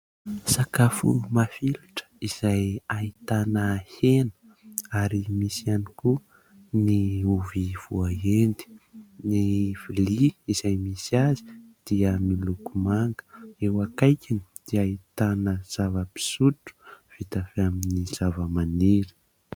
Sakafo mafilotra izay ahitana hena ary misy ihany koa ny ovy voaendy. Ny vilia izay misy azy dia miloko manga, eo akaikiny dia ahitana zava-pisotro vita avy amin'ny zavamaniry.